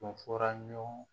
Tun fɔra ɲɔgɔn kɔ